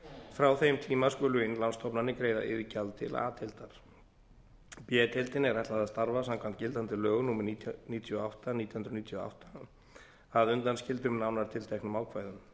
frá þeim tíma skulu innlánsstofnanir greiða iðgjald til a deildar b deildinni er ætlað að starfa samkvæmt gildandi lögum númer níutíu og átta nítján hundruð níutíu og átta að undanskildum nánar tilteknum ákvæðum